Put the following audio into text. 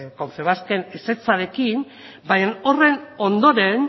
confebasken ezetzarekin baina horren ondoren